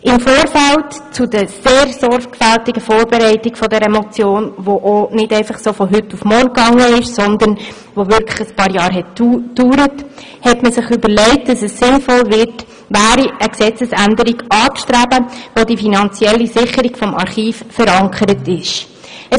Im Vorfeld zur sehr sorgfältigen Vorbereitung dieser Motion, die nicht einfach so von heute auf morgen stattfand, sondern tatsächlich einige Jahre dauerte, hat man sich überlegt, dass es sinnvoll wäre, eine Gesetzesänderung anzustreben, welche die finanzielle Sicherung des Archivs festlegen würde.